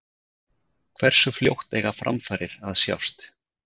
Hversu fljótt eiga framfarir að sjást?